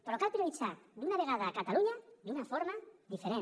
però cal prioritzar d’una vegada catalunya d’una forma diferent